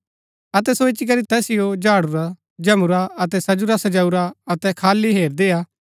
अतै सो इच्ची करी तैसिओ झाडूराझमुंरा अतै सजुरासजाऊरा अतै खाली हैरदीआ